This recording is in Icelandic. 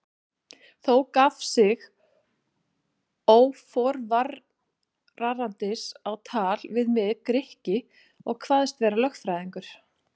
Þá gaf sig óforvarandis á tal við mig Grikki og kvaðst vera lögfræðingur.